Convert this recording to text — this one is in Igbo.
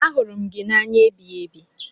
Ahụrụ m gị n'anya ebighiebi.